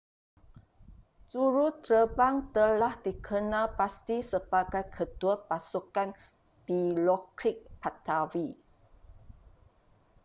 juruterbang telah dikenal pasti sebagai ketua pasukan dilokrit pattavee